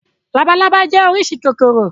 Labalábá jẹ́ oríṣi kòkòrò.